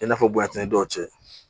I n'a fɔ bonyantanni dɔw cɛ